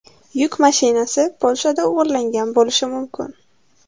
Yuk mashinasi Polshada o‘g‘irlangan bo‘lishi mumkin.